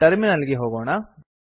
terminal ಗೆ ಹೋಗೋಣ